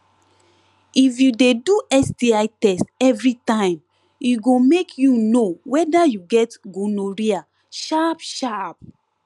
if u de do sti test everytime e go make u know weda u get gonorrhea sharp sharp